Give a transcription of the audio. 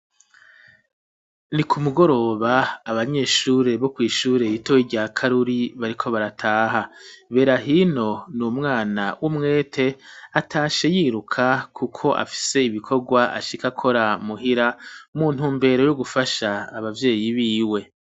Ni ku mugoroba, abanyeshure bo kw'ishure ritoyi rya Karuri bariko barataha; Berahino ni umwana w'umwete, atashe yiruka kuko afise ibikorwa ashika akora muhira, mu ntumbero yo gufasha abavyeyi biwe.